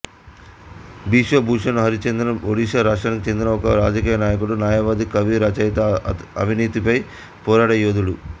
బిశ్వభూషణ్ హరిచందన్ ఒడిషా రాష్ట్రానికి చెందిన ఒక రాజకియ నాయకుడు న్యాయవాది కవి రచయిత అవినీతిపై పోరాడే యోధుడు